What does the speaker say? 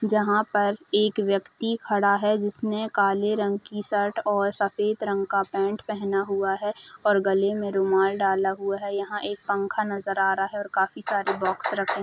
जहां पर एक व्यक्ति खड़ा है जिसमें काले रंग की शर्ट और सफेद रंग का पेंट पहना हुआ है और गले में रुमाल डाला हुआ है यहाँ एक पंखा नज़र आ रहा है और काफी सारे बॉक्स रखे --